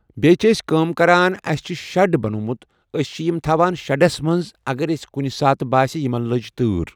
بیٚیہِ چھِ أسۍ کَران کٲم، اَسہِ چھِ شَڈ بنومُت أسۍ چھِ یِم تھَاوان شَڈَس منٛز اگر أسۍ کُنہِ ساتہٕ باسہِ یمن لٔج تٲر